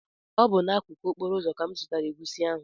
Ọ bụ n’akụkụ okporo ụzọ ka m zụtara egusi ahụ